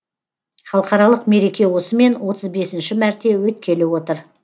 халықаралық мереке осымен отыз бесінші мәрте өткелі отыр